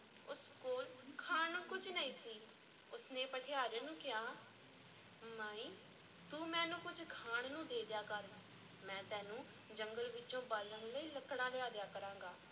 ਉਸ ਕੋਲ ਖਾਣ ਨੂੰ ਕੁਝ ਨਹੀਂ ਸੀ, ਉਸ ਨੇ ਭਠਿਆਰਨ ਨੂੰ ਕਿਹਾ ਮਾਈ ਤੂੰ ਮੈਨੂੰ ਕੁਝ ਖਾਣ ਨੂੰ ਦੇ ਦਿਆ ਕਰ, ਮੈਂ ਤੈਨੂੰ ਜੰਗਲ ਵਿੱਚੋਂ ਬਾਲਣ ਲਈ ਲੱਕੜਾਂ ਲਿਆ ਦਿਆਂ ਕਰਾਂਗਾ।